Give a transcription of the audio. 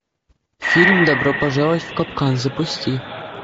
фильм добро пожаловать в капкан запусти